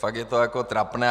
Fakt je to už trapné.